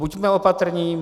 Buďme opatrní.